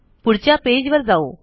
पुढच्या पेज वर जाऊ